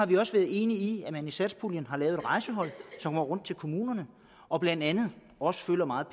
vi også enige i at man via satspuljen lavede et rejsehold som tager rundt til kommunerne og blandt andet også meget